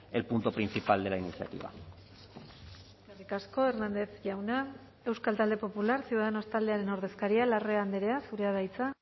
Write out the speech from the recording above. el punto principal de la iniciativa eskerrik asko hernández jauna euskal talde popular ciudadanos taldearen ordezkaria larrea andrea zurea da hitza